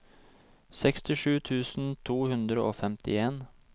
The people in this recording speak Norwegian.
sekstisju tusen to hundre og femtien